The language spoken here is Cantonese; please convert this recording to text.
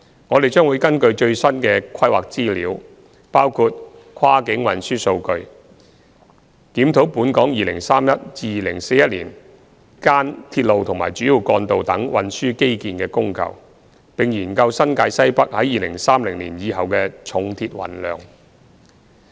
我們將會根據最新的規劃資料，包括跨境運輸數據，檢視本港2031年至2041年間鐵路和主要幹道等運輸基建的供求，並研究新界西北在2030年以後的重鐵運量。